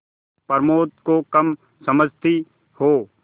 प्रमोद को कम समझती हो